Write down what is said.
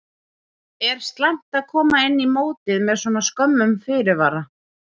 Er slæmt að koma inn í mótið með svona skömmum fyrirvara?